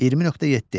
20.7.